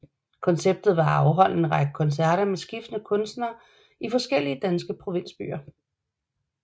Konceptet var at afholde en række koncerter med skiftende kunstnere i forskellige danske provinsbyer